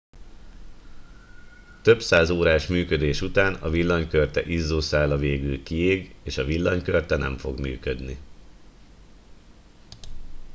több száz órás működés után a villanykörte izzószála végül kiég és a villanykörte nem fog működni